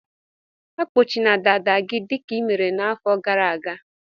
Akpọchina dada gị dịka i mere n'afọ gara aga!